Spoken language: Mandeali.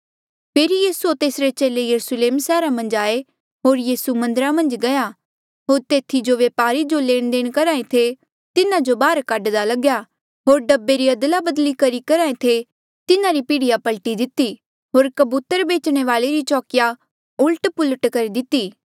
फेरी यीसू होर तेसरे चेले यरुस्लेम सैहरा मन्झ आये होर यीसू मन्दरा मन्झ गया होर तेथी जो व्य्पारिये जो लेणदेण करेया करहे थे तिन्हा जो बाहर काढदा लग्या होर ढब्बे री अदलाबदली करी करहे थे तिन्हारी पीढ़िया पलटी दिती होर कबूतर बेचणे वाले री चौकिया ऊलट पुलट करी दिती